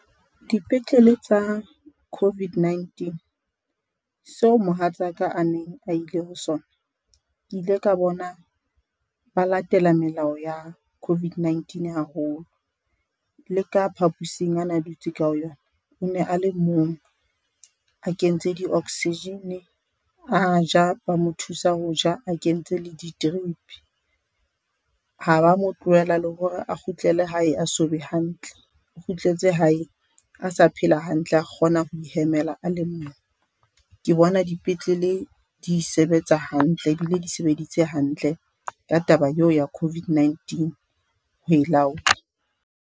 Dipetlele tsa COVID-19 seo mohatsaka a neng a ile ho sona. Ke ile ka bona ba latela melao ya COVID-19 haholo, le ka phapusing ana a dutse ka ho yona o ne a le mong, a kentse di-oxygen-e, a ja ba mo thusa ho ja a kentse le di-trip-i. Ha ba mo tlohela le hore a kgutlele hae a so be hantle, o kgutletse hae a sa phela hantle a kgona ho ihemela a le mong. Ke bona dipetlele di sebetsa hantle ebile di sebeditse hantle ka taba eo ya COVID-19 ho e laola.